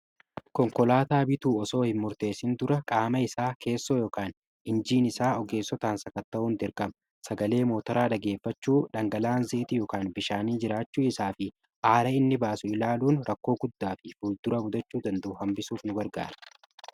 Konkolaataa bituu osoo hin murteessin dura qaama isaa keessoo yoOkaan injiinisaa ogeessotaan sakatta'uun dIrqama sagalee mootoraa dhageeffachuu dhangala'aan zeeyitii yookaan bishaanii jiraachuu isaa fi aara inni baasu ilaaluun rakkoo guddaa fi fuuldura mudachuu danda'u hambisuuf ni gargaara.